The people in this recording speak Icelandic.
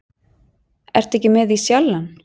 Ertu ekki með í Sjallann?